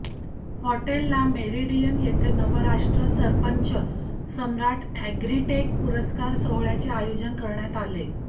hotel Le Meridien येथे Navrashtra Sarpanch Samrat Agritech पुरस्कार सोहळ्याचे आयोजन करण्यात आले